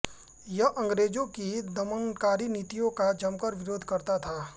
यह अंग्रेजों की दमनकारी नीतियों का जमकर विरोध करता था